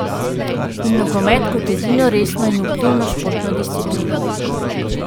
In nogomet kot edino resno in vplivno športno disciplino.